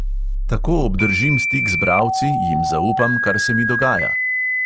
Tako obdržim stik z bralci, jim zaupam, kar se mi dogaja.